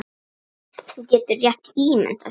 Þú getur rétt ímyndað þér!